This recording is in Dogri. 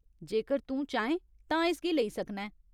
जेकर तूं चाहें तां इसगी लेई सकना ऐं।